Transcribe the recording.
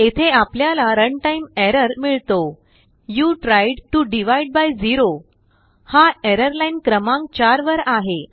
येथे आपल्याला रनटाईम errorमिळतो you tried to divide by zero हाएरर लाईनक्रमांक 4 वर आहे